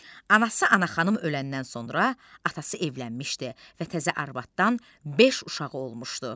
Anası Anaxanım öləndən sonra atası evlənmişdi və təzə arvadadan beş uşağı olmuşdu.